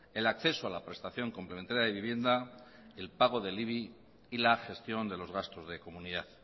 el acceso a la prestación complementaria de vivienda el pago del ibi y la gestión de los gastos de comunidad